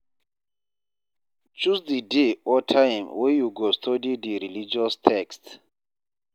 Choose di day or time wey you go study di religious text